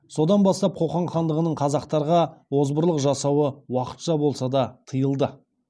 содан бастап қоқан хандығының қазақтарға озбырлық жасауы уақытша болса да тыйылды